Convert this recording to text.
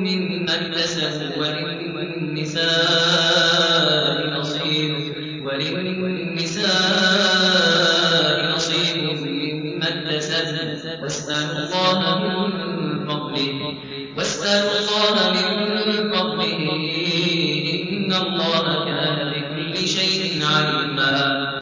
مِّمَّا اكْتَسَبُوا ۖ وَلِلنِّسَاءِ نَصِيبٌ مِّمَّا اكْتَسَبْنَ ۚ وَاسْأَلُوا اللَّهَ مِن فَضْلِهِ ۗ إِنَّ اللَّهَ كَانَ بِكُلِّ شَيْءٍ عَلِيمًا